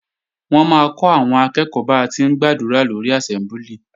Wọ́n máa kọ́ àwọn akẹ́ẹ̀kọ́ ba ti ń gbàdúrà lórí àsẹ́mbúlì